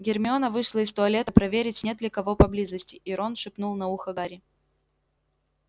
гермиона вышла из туалета проверить нет ли кого поблизости и рон шепнул на ухо гарри